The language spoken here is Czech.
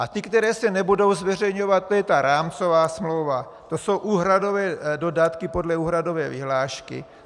A ty, které se nebudou zveřejňovat, to je ta rámcová smlouva, to jsou úhradové dodatky podle úhradové vyhlášky.